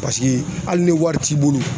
hali ni wari t'i bolo